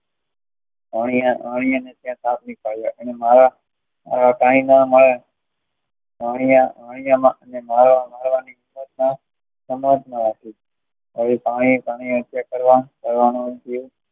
અહીંયા અહીંયા કે આ સાપ નીકળ્યો આવા કાંઈ ન